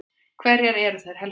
Hverjar eru þær helstu?